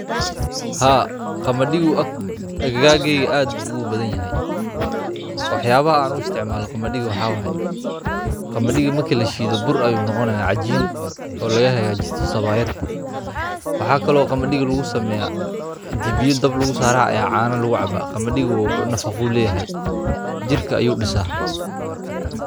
Haa qaamadiigo aggagar keygu aad bu ugu badaanyahay waxyabaha aan u isticmaalon qamadiiga waxaye qaamadiigo marka la shiido wuxu noqonaya boor ama cajiin oo laga hagaajiisto sawaayad waxa kale oo qaamadiiga lagu sameya in biyo dabka lagu saaro aya caana lagu caaba uu nafaaqo uu leyaha jirka ayu diisa.